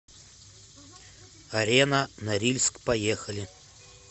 арена норильск поехали